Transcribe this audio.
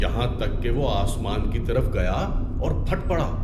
یہاں تک کہ وہ آسمان کی طرف گیا اور پھٹ پڑا۔